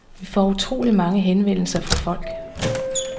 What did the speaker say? Vi får utroligt mange henvendelser fra folk.